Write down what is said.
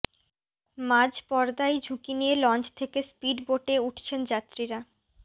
মাঝ পদ্মায় ঝুঁকি নিয়ে লঞ্চ থেকে স্পিডবোটে উঠছেন যাত্রীরা